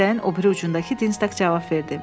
Dəstəyin o biri ucundakı Dinstak cavab verdi.